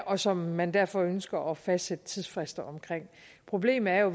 og som man derfor ønsker at fastsætte tidsfrister omkring problemet er jo